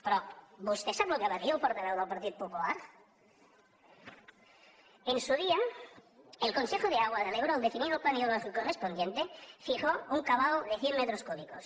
però vostè sap què va dir el portaveu del partit popular en su día el consejo de agua del ebro al definir el plan hidrológico correspondiente fijó un cabal de cent metros cúbicos